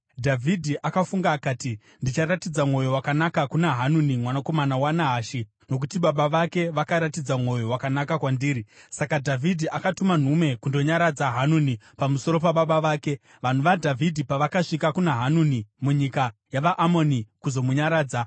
Dhavhidhi akafunga akati, “Ndicharatidza mwoyo wakanaka kuna Hanuni mwanakomana waNahashi nokuti baba vake vakaratidza mwoyo wakanaka kwandiri.” Saka Dhavhidhi akatuma nhume kundonyaradza Hanuni pamusoro pababa vake. Vanhu vaDhavhidhi pavakasvika kuna Hanuni munyika yavaAmoni kuzomunyaradza,